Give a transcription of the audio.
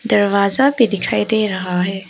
दरवाजा भी दिखाई दे रहा है।